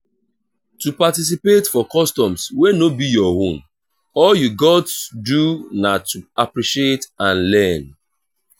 to participate for customs wey no be your own all you gats do na to appreciate and learn